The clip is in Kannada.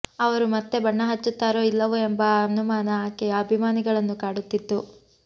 ಅವರು ಮತ್ತೆ ಬಣ್ಣ ಹಚ್ಚುತ್ತಾರೋ ಇಲ್ಲವೋ ಎಂಬ ಅನುಮಾನ ಆಕೆಯ ಅಭಿಮಾನಿಗಳನ್ನು ಕಾಡುತ್ತಿತ್ತು